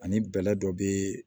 Ani bɛlɛ dɔ be